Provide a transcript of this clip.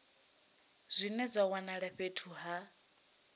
zwine zwa wanala fhethu ha